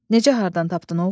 Necə hardan tapdın, oğul?